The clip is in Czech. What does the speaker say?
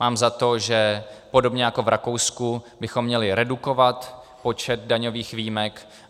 Mám za to, že podobně jako v Rakousku bychom měli redukovat počet daňových výjimek.